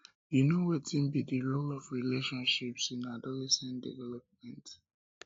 you know wetin be di role of relationships in adolescent development